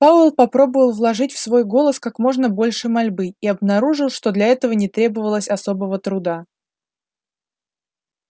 пауэлл попробовал вложить в свой голос как можно больше мольбы и обнаружил что для этого не требовалось особого труда